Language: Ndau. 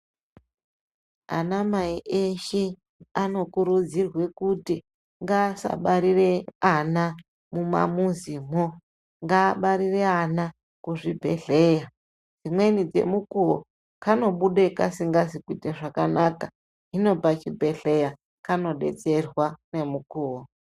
Ana mai eshe, anokurudzirwa kuti ngaasabarire ana mumamuzimo ngaabarire ana kuzvibhedhleya. Dzimweni dzemukuwo kanobuda kasingazi kuyita zvakanaka, hino pachibhedhleya, kanodetserwa nemukuwo.